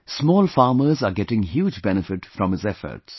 Small farmers are getting huge benefit from his efforts